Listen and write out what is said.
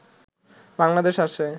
বাংলাদেশে আসে